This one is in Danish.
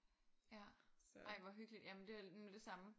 Ja ej hvor hyggeligt ja men det var det samme